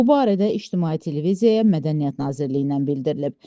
Bu barədə ictimai televiziyaya Mədəniyyət Nazirliyindən bildirilib.